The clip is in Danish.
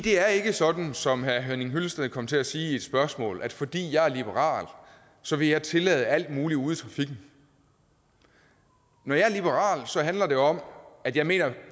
er ikke sådan som herre henning hyllested kom til at sige i et spørgsmål at fordi jeg er liberal så vil jeg tillade alt muligt ude i trafikken når jeg er liberal handler det om at jeg mener at